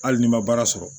Hali n'i ma baara sɔrɔ